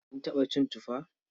Kin taɓa cin tufa?